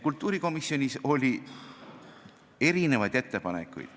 Kultuurikomisjonis oli erinevaid ettepanekuid.